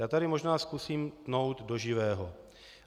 Já tady možná zkusím tnout do živého.